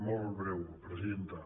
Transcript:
molt breu presidenta